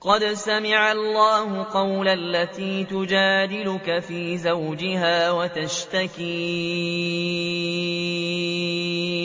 قَدْ سَمِعَ اللَّهُ قَوْلَ الَّتِي تُجَادِلُكَ فِي زَوْجِهَا وَتَشْتَكِي